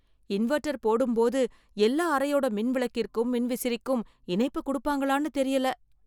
Inverter போடும்போது எல்லா அறையோட மின் விளக்கிற்கும் மின்விசிறிக்கும் இணைப்பு குடுப்பாங்களான்னு தெரியல.